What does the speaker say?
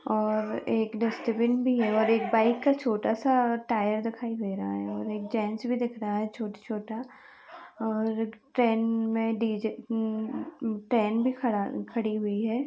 और एक डस्टबिन भी है और एक बाइक का छोटा सा टायर दिखाई दे रहा है और एक जेंट्स भी दिख रहा है। छोटा - छोटा और ट्रेन में उम -- उम ट्रेन भी खडा -- खड़ी हुई है।